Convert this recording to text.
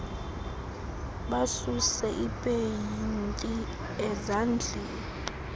basuse ipeyinti ezandleni